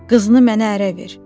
Qızını mənə ərə ver.